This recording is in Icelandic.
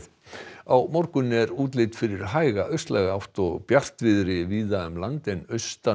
á morgun er útlit fyrir hæga átt og bjartviðri víða um land en austan